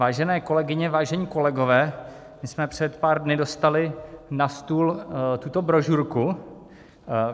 Vážené kolegyně, vážení kolegové, my jsme před pár dny dostali na stůl tuto brožurku.